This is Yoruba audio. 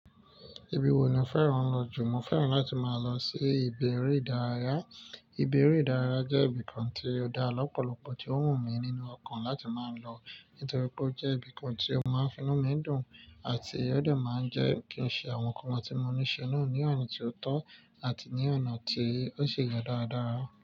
Ibi wo ni o fẹ́ràn lọ jù? Mo fẹ́ràn láti máa lọ sí ìbi ere ìdárayá. Ìbi ere ìdárayá jẹ́ ibìkan tí ó dá lọ́pọ̀lọpọ̀ tí ó wù mí nínú ọkàn láti máa lọ nítorí pé ó jẹ́ ibìkan tí ó máa ń finú mi dùn àti ó de máa ń jẹ́ kí n ṣe àwọn nǹkan tí mo ní ṣe náà ní ona tí ó tó àti ní ọ̀nà tí ó ṣe ye dáradára.